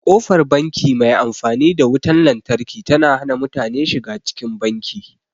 Ƙofar banki mai amfani da wutan lantarki ta hana mutane shiga cikin banki.